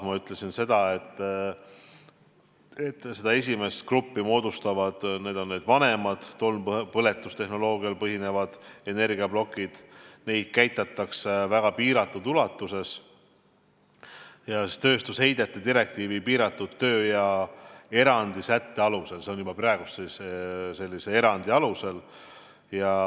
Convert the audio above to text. Ma ütlesin, et esimese grupi moodustavad vanemad tolmpõletustehnoloogial põhinevad energiaplokid, mida käitatakse väga piiratud ulatuses ja tööstusheidete direktiivi piiratud töö- ja erandisätete alusel.